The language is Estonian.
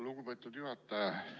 Lugupeetud juhataja!